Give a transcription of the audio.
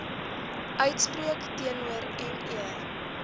uitspreek teenoor me